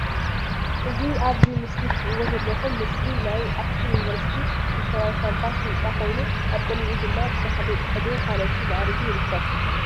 እ ዚ ኣብ እዚ ምስሊ ትርእዎ ዘለኩም ምስሊ ናይ አክሱምዩኒቨርስቲ ሪፈራልካምፓስ ህንፃ ኮይኑ አብ ቅድሚኡ ድማ ብተኽሊ ፅሕዲን ካልኦትን ማዕሪጉ ይርከብ፡፡